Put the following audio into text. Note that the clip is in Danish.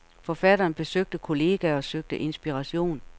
Forfatteren besøgte kolleger og søgte inspiration.